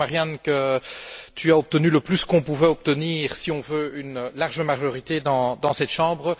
Je crois, Marianne, que tu as obtenu le plus qu'on pouvait obtenir si on veut une large majorité dans cette chambre.